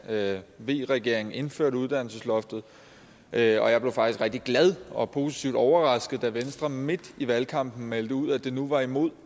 da v regeringen indførte uddannelsesloftet og jeg blev faktisk rigtig glad og positivt overrasket da venstre midt i valgkampen meldte ud at det nu var imod